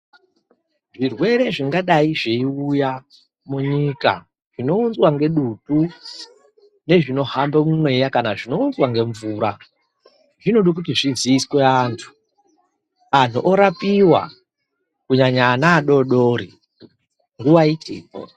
Zvirwere zvingadayi zveyiuya munyika, zvinounzwa ngedutu nezvinohamba mumweya ,kana zvinounzwa ngemvura, zvinoda kuti zviziyiswe antu, anhu orapiwa ,kunyanya ana adodori, nguva ichipo.